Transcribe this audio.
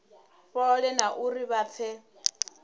fhole na uri vha pfe